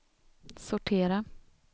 sortera